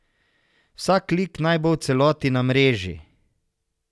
Vsak lik naj bo v celoti na mreži.